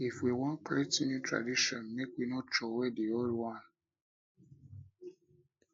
if we wan create new new tradition make we no troway di old one